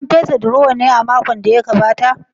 An fesa durowar ne a makon da ya gabata?